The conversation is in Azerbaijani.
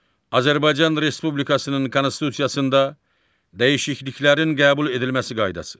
Azərbaycan Respublikasının Konstitusiyasında dəyişikliklərin qəbul edilməsi qaydası.